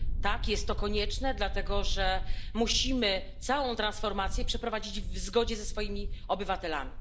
Tak, jest to konieczne, dlatego że musimy całą transformację przeprowadzić w zgodzie ze swoimi obywatelami.